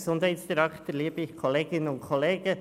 Ich nehme es gerade vorweg: